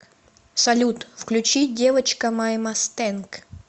салют включи девочка май масстэнк